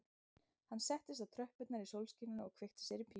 Hann settist á tröppurnar í sólskininu og kveikti sér í pípu